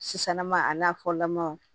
Sisannɔɔ a n'a fɔlamaw